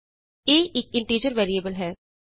a ਇਕ integer variable ਹੈ